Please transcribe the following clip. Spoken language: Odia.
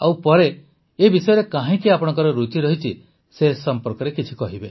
ଆଉ ପରେ ଏହି ବିଷୟରେ କାହିଁକି ଆପଣଙ୍କ ରୁଚି ରହିଛି ସେ ସମ୍ପର୍କରେ କିଛି କହିବେ